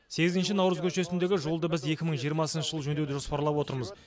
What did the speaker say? сегізінші наурыз көшесіндегі жолды біз екі мың жиырмасыншы жылы жөндеуді жоспарлап отырмыз